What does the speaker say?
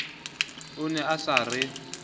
o ne a sa re